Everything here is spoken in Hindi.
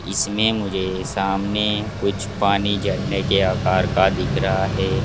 इसमें मुझे सामने कुछ पानी झरने के आकार का दिख रहा है।